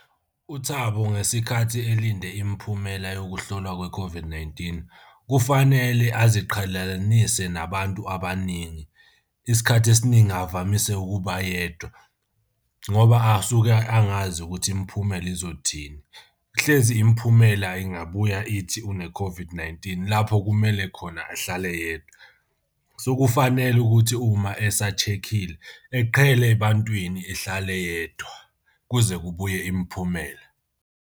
UThabo ngesikhathi elinde imiphumela yokuhlolwa kwe-COVID-19 kufanele aziqhelalanise nabantu abaningi. Isikhathi esiningi avamise ukuba yedwa ngoba asuke angazi ukuthi imiphumela izothini. Hlezi imiphumela ingabuya ithi une-COVID-19 lapho kumele khona ahlale yedwa. So kufanele ukuthi uma esa-check-ile eqhele ebantwini ehlale yedwa kuze kubuye imiphumela.